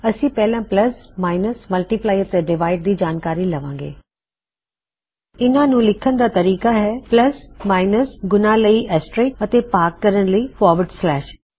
ਅਸੀਂ ਪਹਿਲਾ plus minus multiply ਅਤੇ ਡਿਵਾਇਡ ਆਪਰੇਸ਼ਨਜ਼ ਦੀ ਜਾਨਕਾਰੀ ਲਵਾਂ ਗੇ plusminusਮਲਟੀਪਲਾਈ ਐਂਡ ਡਿਵਾਈਡ ਆਪਰੇਸ਼ਨਜ਼ ਇੱਨ੍ਹਾ ਨੂੰ ਲਿਖਣ ਦਾ ਤਰੀਕਾ ਹੈ ਪੱਲਸ ਮਾਇਨਸ ਗੁਣਾ ਲਈ ਐਸਟਰਿਸਕ ਐਸਟਰਿਸਕ ਅਤੇ ਭਾਗ ਕਰਣ ਲਈ ਫਾਰਵਰਡ ਸਲੈਸ਼